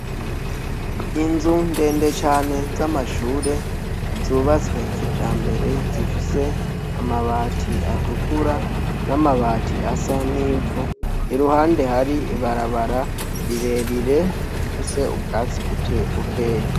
Inzu ndende cane z' amashure z'ubatswe kijambere zifis' amabati atukura, n amabati asa nivu iruhande har' ibarabara rirerire rifis' ubwatsi bukeya.